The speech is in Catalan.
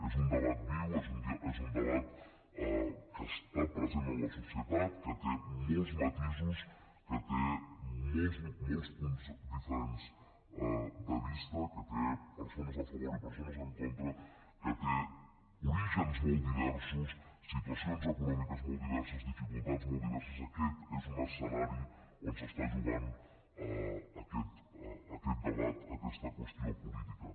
és un debat viu és un debat que està present en la societat que té molts matisos que té molts punts diferents de vista que té persones a favor i persones en contra que té orígens molt diversos situacions econòmiques molt diverses dificultats molt diverses aquest és un escenari on es juga aquest debat aquesta qüestió política